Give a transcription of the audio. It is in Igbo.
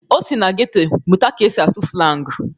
O si na geto mụta ka esi asụ slangu.